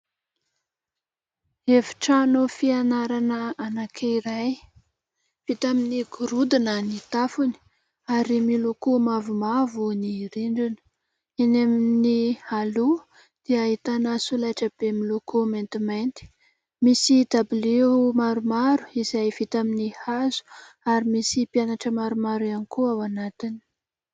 Efitrano fianarana anankiray. Vita amin'ny gorodona ny tafony ary miloko mavomavo ny rindrina. Eny amin'ny aloha dia ahitana solaitrabe miloko maintimainty. Misy dabilio maromaro izay vita amin'ny hazo ary misy mpianatra maromaro ihany koa ao anatiny.